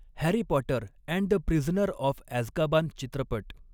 Harry Potter and the Prisoner of Azkaban चित्रपट